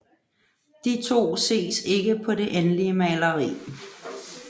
De to ses ikke på det endelige maleri